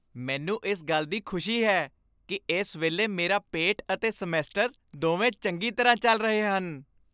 ਮੈਨੂੰ ਇਸ ਗੱਲ ਦੀ ਖੁਸ਼ੀ ਹੈ ਕਿ ਇਸ ਵੇਲੇ ਮੇਰਾ ਪੇਟ ਅਤੇ ਸਮੈਸਟਰ ਦੋਵੇਂ ਚੰਗੀ ਤਰ੍ਹਾਂ ਚੱਲ ਰਹੇ ਹਨ।